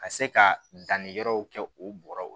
Ka se ka danniyɔrɔ kɛ o bɔrɔw